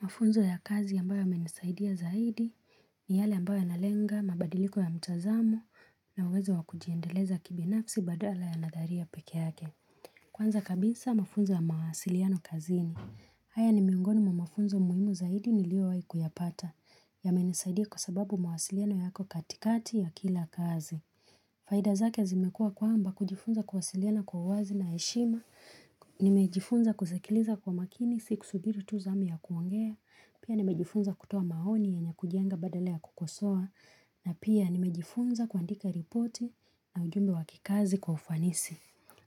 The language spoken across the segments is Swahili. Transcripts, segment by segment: Mafunzo ya kazi ambayo yamenisaidia zaidi ni yale ambayo yanalenga mabadiliko ya mtazamo na uwezo wa kujiendeleza kibinafsi badala ya nadhari ya peke yake. Kwanza kabisa mafunzo ya mawasiliano kazini. Haya ni miongoni mwa mafunzo muhimu zaidi niliyowahi kuyapata. Yamenisaidia kwa sababu mawasiliano yako katikati ya kila kazi. Faida zake zimekuwa kwamba kujifunza kuwasiliana kwa uwazi na heshima, nimejifunza kusikiliza kwa makini, si kusubiri tu zamu ya kuongea, pia nimejifunza kutoa maoni yenye kujenga badala ya kukosoa, na pia nimejifunza kuandika ripoti na ujumbe wa kikazi kwa ufanisi.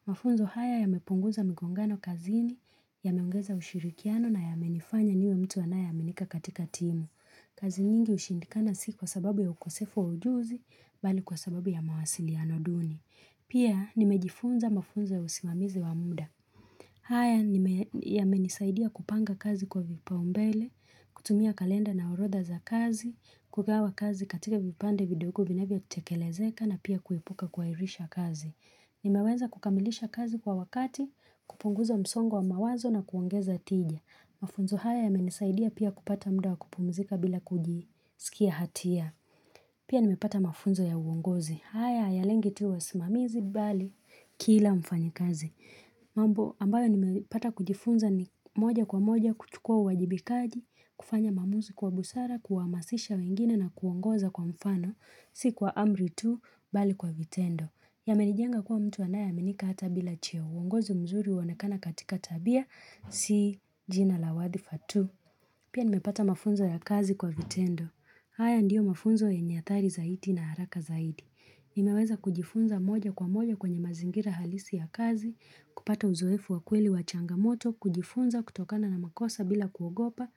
Mafunzo haya yamepunguza migongano kazini, yameongeza ushirikiano na yamenifanya niwe mtu anaya amenika katika timu. Kazi nyingi ushindikana si kwa sababu ya ukosefu ujuzi, bali kwa sababu ya mawasili ya noduni. Pia, nimejifunza mafunzo ya usimamizi wamuda. Haya, yamenisaidia kupanga kazi kwa vipaumbele, kutumia kalenda na orodha za kazi, kugawa kazi katika vipande vidogo vinavyotekelezeka na pia kuibuka kuhairisha kazi. Nimeweza kukamilisha kazi kwa wakati, kupunguza msongo wa mawazo na kuongeza tijia. Mafunzo haya yamenisaidia pia kupata muda wa kupumzika bila kujisikia hatia. Pia nimepata mafunzo ya uongozi. Haya ya lengi tuwa simamizi bali kila mfanyi kazi. Mambo ambayo nimepata kujifunza ni moja kwa moja kuchukua uwajibikaji, kufanya maamuzi kwa busara, kuhamasisha wengine na kuongoza kwa mfano, si kwa amri tu, bali kwa vitendo. Yamenijenga kuwa mtu anayeamenika hata bila cheo, uongozi mzuri huonekana katika tabia, si jina la wadhfa tu. Pia nimepata mafunzo ya kazi kwa vitendo. Haya ndiyo mafunzo yenye athari zaidi na haraka zaidi. Nimeweza kujifunza moja kwa moja kwenye mazingira halisi ya kazi, kupata uzoefu wa kweli wa changamoto, kujifunza kutokana na makosa bila kuogopa,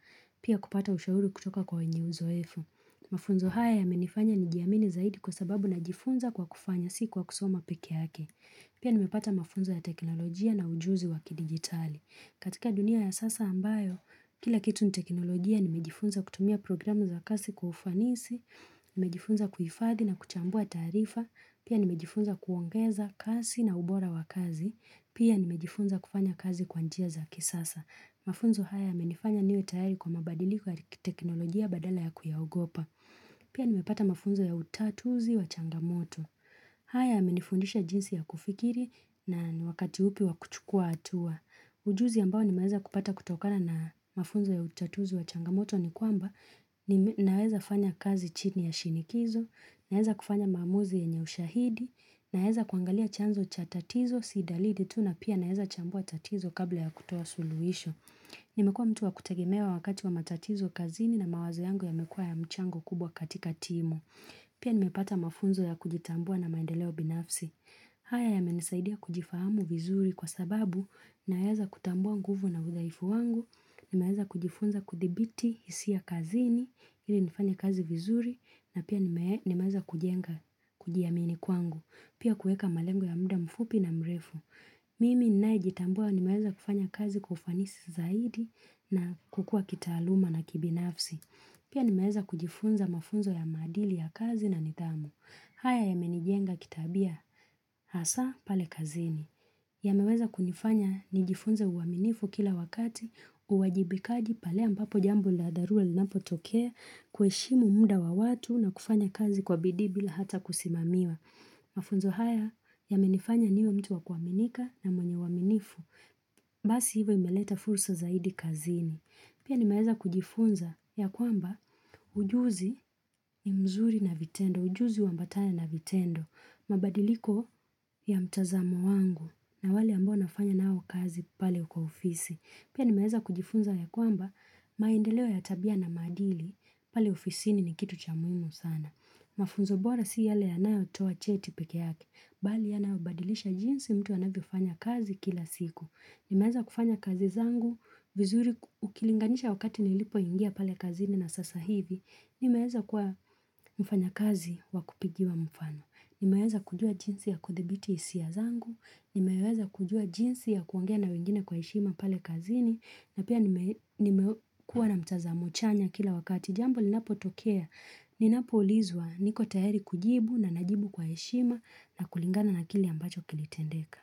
pia kupata ushauri kutoka kweenye uzoefu. Mafunzo haya yamenifanya nijiamini zaidi kwa sababu najifunza kwa kufanya si kwa kusoma pekee yake. Pia nimepata mafunzo ya teknolojia na ujuzi waki digitali. Katika dunia ya sasa ambayo, kila kitu ni teknolojia nimejifunza kutumia programu za kasi kufanisi, nimejifunza kuhifathi na kuchambua taarifa, pia nimejifunza kuongeza kasi na ubora wa kazi, pia nimejifunza kufanya kazi kwa njia za kisasa. Mafunzo haya yamenifanya niwe tayari kwa mabadiliko ya teknolojia badala ya kuyaogopa. Pia nimepata mafunzo ya utatuzi wa changamoto. Haya yamenifundisha jinsi ya kufikiri na ni wakati upi wa kuchukua hatua. Ujuzi ambao nimeweza kupata kutokana na mafunzo ya utatuzi wa changamoto ni kwamba naweza fanya kazi chini ya shinikizo, naweza kufanya maamuzi yenye ushahidi, naweza kuangalia chanzo cha tatizo si dalidi tu na pia naweza chambua tatizo kabla ya kutoa suluhisho. Nimekuwa mtu wa kutegemewa wakati wa matatizo kazini na mawazo yangu yamekuwa ya mchango kubwa katika timu. Pia nimepata mafunzo ya kujitambua na maendeleo binafsi. Haya yamenisaidia kujifahamu vizuri kwa sababu naweza kutambua nguvu na udhaifu wangu, nimeweza kujifunza kuthibiti hisia ya kazini ili nifanye kazi vizuri na pia nimeaza kujenga kujiamini kwangu. Pia kuweka malengo ya mda mfupi na mrefu. Mimi ninayejitambua nimeweza kufanya kazi kwa ufanisi zaidi na kukua kitaaluma na kibinafsi. Pia nimeweza kujifunza mafunzo ya maadili ya kazi na nidhamu. Haya yamenijenga kitabia hasaa pale kazini. Yameweza kunifanya nijifunze uaminifu kila wakati, uwajibikaji pale ambapo jambo la dharura linapotokea, kuheshimu muda wa watu na kufanya kazi kwa bidii bila hata kusimamiwa. Mafunzo haya yamenifanya niwe mtu wa kuaminika na mwenye uaminifu. Basi hivyo imeleta fursa zaidi kazini. Pia nimeweza kujifunza ya kwamba ujuzi ni mzuri na vitendo, ujuzi huambatana na vitendo. Mabadiliko ya mtazamo wangu na wale ambo nafanya nao kazi pale kwa ofisi. Pia nimeweza kujifunza ya kwamba maendeleo ya tabia na maadili pale ofisini ni kitu cha muhimu sana. Mafunzo bora si yale yanayotoa cheti pekee yake Bali yanayobadilisha jinsi mtu anavyofanya kazi kila siku Nimeeza kufanya kazi zangu vizuri ukilinganisha wakati nilipoingia pale kazini na sasa hivi Nimeweza kuwa mfanya kazi wa kupigiwa mfano. Nimeweza kujua jinsi ya kuthibiti hisia zangu, nimeweza kujua jinsi ya kuongea na wengine kwa heshima pale kazini, na pia nimekuwa na mtazamo chanya kila wakati. Jambo linapotokea, ninapoulizwa niko tayari kujibu na najibu kwa heshima na kulingana na kile ambacho kimetendeka.